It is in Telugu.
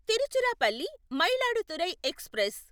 తిరుచిరాపల్లి మయిలాడుతురై ఎక్స్ప్రెస్